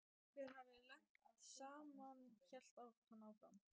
Okkur hefði lent saman hélt hann áfram.